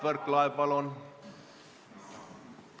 Mart Võrklaev, palun!